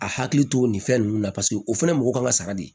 A hakili to nin fɛn ninnu na paseke o fɛnɛ ye mɔgɔ kan ka sara de